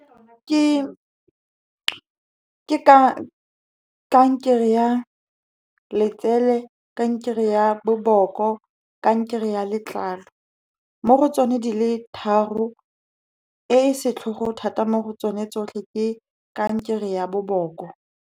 Ke ka kankere ya letsele, kankere ya boboko, kankere ya letlalo. Mo go tsone di le tharo, e e setlhogo thata mo go tsone tsotlhe, ke kankere ya boboko.